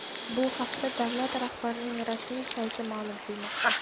Bu haqda davlat rahbarining rasmiy sayti ma’lum qilmoqda .